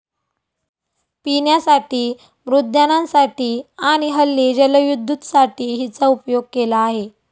पिण्यासाठी, मृद्यानांसाठी आणि हल्ली जलविद्दुतसाठी हिचा उपयोग केला आहे.